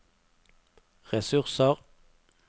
ressurser